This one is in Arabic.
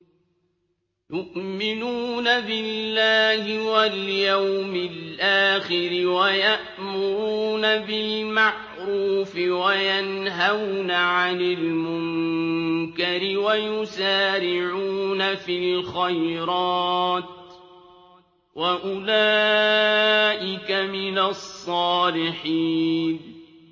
يُؤْمِنُونَ بِاللَّهِ وَالْيَوْمِ الْآخِرِ وَيَأْمُرُونَ بِالْمَعْرُوفِ وَيَنْهَوْنَ عَنِ الْمُنكَرِ وَيُسَارِعُونَ فِي الْخَيْرَاتِ وَأُولَٰئِكَ مِنَ الصَّالِحِينَ